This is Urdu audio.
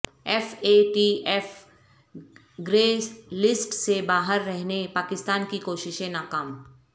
F A T F grey list سے باہر رہنے پاکستان کی کوششیں ناکام